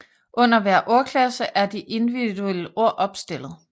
Under hver ordklasse er de individuelle ord opstillet